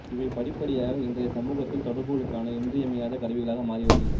இவை படிப்படியாக இன்றைய சமூகத்தில் தொடர்புகளுக்கான இன்றியமையாத கருவிகளாக மாறிவருகின்றன